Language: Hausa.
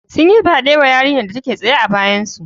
Sun yi fyaɗe wa yarinyar da take tsaye a bayansu